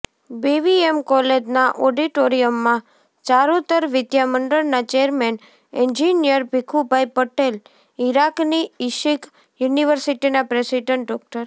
BVM કોલેજના ઓડિટોરીયમમાં ચારૂતર વિદ્યામંડળના ચેરમેન એન્જિનિયર ભીખુભાઇ પટેલ ઇરાકની ઇશિક યુનિવર્સિટીના પ્રેસિડેન્ટ ડો